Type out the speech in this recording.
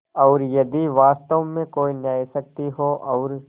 और यदि वास्तव में कोई न्यायशक्ति हो और